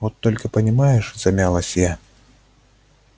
вот только понимаешь замялась я